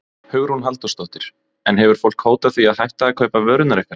Hugrún Halldórsdóttir: En hefur fólk hótað því að hætta að kaupa vörurnar ykkar?